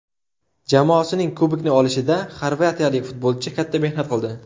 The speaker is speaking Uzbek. Jamoasining kubokni olishida xorvatiyalik futbolchi katta mehnat qildi.